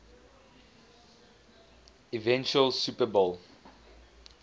eventual super bowl